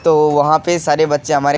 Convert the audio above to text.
तो वहाँ पे सारे बच्चे हमारे --